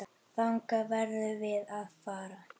Þangað verðum við að fara.